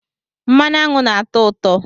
Mmanụ aṅụ nna-atọ ụtọ